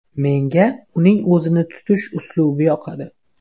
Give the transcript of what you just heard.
Menga uning o‘zini tutish uslubi yoqadi.